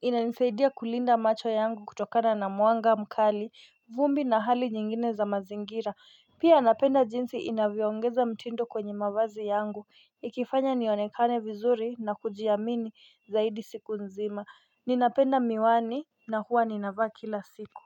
inanisaidia kulinda macho yangu kutokana na mwanga mkali, vumbi na hali nyingine za mazingira, pia napenda jinsi inavyoongeza mtindo kwenye mavazi yangu, ikifanya nionekane vizuri na kujiamini zaidi siku nzima, ninapenda miwani na huwa ninavaa kila siku.